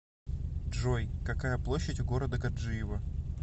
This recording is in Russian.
джой какая площадь у города гаджиево